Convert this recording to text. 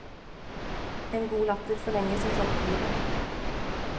En god latter forlenger som kjent livet.